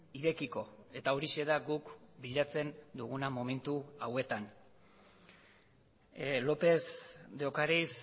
irekiko eta horixe da guk bilatzen duguna momentu hauetan lópez de ocariz